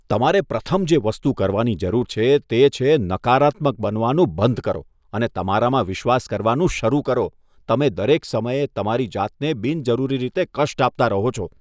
તમારે પ્રથમ જે વસ્તુ કરવાની જરૂર છે તે છે નકારાત્મક બનવાનું બંધ કરો અને તમારામાં વિશ્વાસ કરવાનું શરૂ કરો. તમે દરેક સમયે તમારી જાતને બિનજરૂરી રીતે કષ્ટ આપતા રહો છો.